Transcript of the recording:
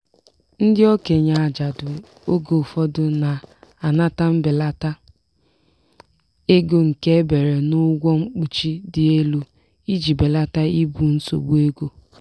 ndị okenye ajadu oge ụfọdụ na-anata mbelata ego nke ebere n'ụgwọ mkpuchi dị elu iji belata ibu nsogbu ego.